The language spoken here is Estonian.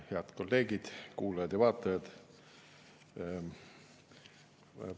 Head kolleegid, kuulajad ja vaatajad!